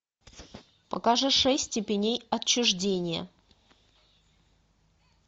покажи шесть степеней отчуждения